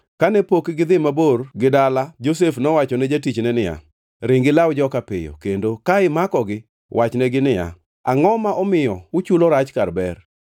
Kane pok gidhi mabor gi dala Josef nowacho ne jatichne niya, ring ilaw joka piyo, kendo ka imakogi, wachnegi niya, “Angʼo ma omiyo uchulo rach kar ber?